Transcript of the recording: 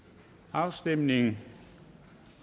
afstemningen